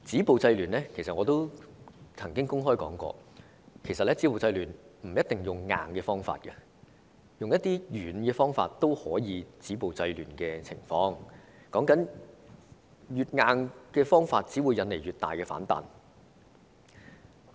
我亦曾經公開指出，不一定要用強硬的方法止暴制亂，用軟的方法亦可以做到，因為越強硬的手法，只會引來越大的反彈。